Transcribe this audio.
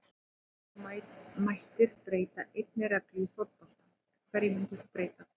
nei Ef þú mættir breyta einni reglu í fótbolta, hverju myndir þú breyta?